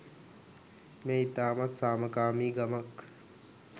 මෙය ඉතාමත් සාමකාමි ගමක්.